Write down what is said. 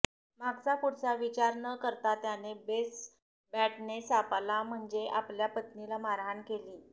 मागचा पुढचा विचार न करता त्याने बेसबॅटने सापाला म्हणजे आपल्या पत्नीला मारहाण केली